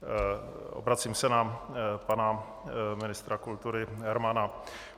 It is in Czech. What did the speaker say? Obracím se na pana ministra kultury Hermana.